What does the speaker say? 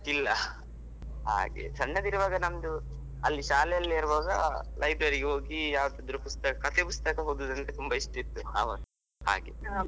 ಇಲ್ಲ, ಹಾಗೆ ಸಣ್ಣದಿರುವಾಗ ನಮ್ದು ಅಲ್ಲಿ ಶಾಲೆಯಲ್ಲಿರುವಾಗ library ಗೆ ಹೋಗಿ ಯಾವದಾದ್ರು ಪುಸ್ತಕ ಕತೆ ಪುಸ್ತಕ ಓದುದಂದ್ರೆ ತುಂಬಾ ಇಷ್ಟ ಇತ್ತು ಆವಾಗ ಹಾಗೆ.